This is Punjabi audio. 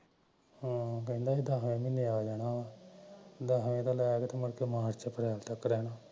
ਹਾਂ ਕਹਿੰਦਾ ਮੈਂ ਦਸ ਮਹੀਨੇਆ ਜਾਣਾ ਮੁੜ ਕੇ ਮਾਰਚ ਅਪ੍ਰੈਲ ਤਕ ਰਹਣਾ